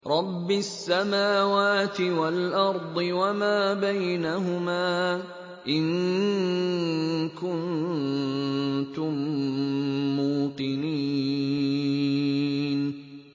رَبِّ السَّمَاوَاتِ وَالْأَرْضِ وَمَا بَيْنَهُمَا ۖ إِن كُنتُم مُّوقِنِينَ